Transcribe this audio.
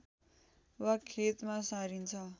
वा खेतमा सारिन्छ